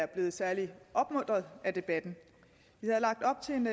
blevet særlig opmuntret af debatten vi havde lagt op til en